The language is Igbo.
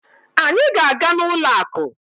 Anyị ga-aga n'ụlọ akụ.